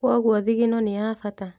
Kwoguo thigino nĩ ya bata